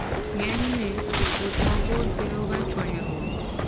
Ng'enyne, wuoth mabor keloga chwanyruok.